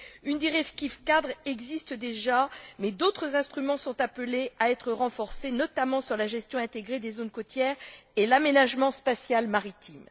Une directive cadre existe déjà mais d'autres instruments sont appelés à être renforcés, notamment sur la gestion intégrée des zones côtières et l'aménagement spatial maritime.